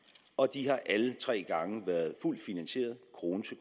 og de har alle tre gange været fuldt finansieret krone til